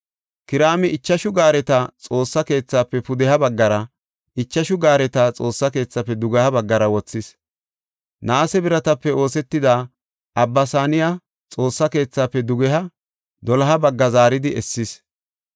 Kiraami ichashu gaareta Xoossa keethaafe pudeha baggara, ichashu gaareta Xoossa keethaafe dugeha baggara wothis; naase biratape oosetida Abba Saaniya Xoossaa keethaafe dugeha doloha bagga zaaridi essis.